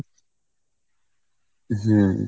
হম